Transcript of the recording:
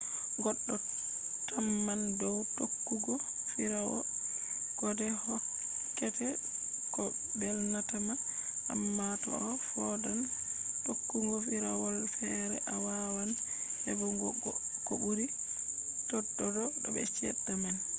goddo tamman dow tokkugo firawol kode hokkete ko belnatama amma toaa foodan tokkugo firawolfere a waawan hebugo ko buri tododo be chede man